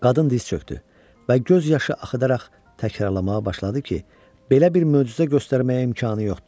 Qadın diz çökdü və göz yaşı axıdaraq təkrarlamağa başladı ki, belə bir möcüzə göstərməyə imkanı yoxdur.